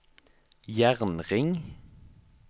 jernring